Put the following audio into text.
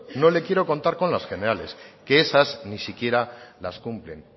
no le quiero contar con las generales que esas ni siquiera las cumplen